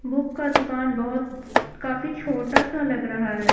Book का दुकान बहुत काफी छोटा सा लग रहा है।